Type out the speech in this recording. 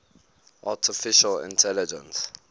artificial intelligence